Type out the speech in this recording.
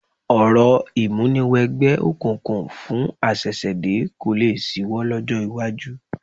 Orò ìmúniwẹgbẹ́ òkùnkùn fún àṣẹ̀ṣẹ̀dé kò lé ṣíwọ́ lọ́jọ́ iwájú